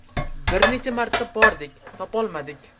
Bir necha marta bordik, topolmadik.